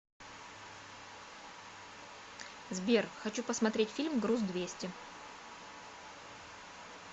сбер хочу посмотреть фильм груз двести